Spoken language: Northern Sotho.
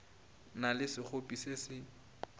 na le sekgopi se se